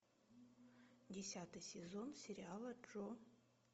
десятый сезон сериала джо